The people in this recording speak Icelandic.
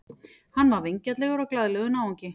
Hann var vingjarnlegur og glaðlegur náungi.